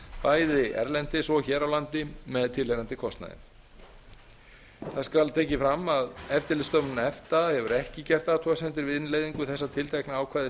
bæði erlendis og hér á landi með tilheyrandi kostnaði það skal tekið fram að eftirlitsstofnun efta hefur ekki gert athugasemdir við innleiðingu þessa tiltekna ákvæðis